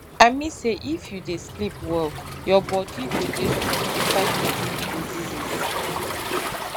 i mean say if you dey sleep well your bodi go dey strong to fight against diseases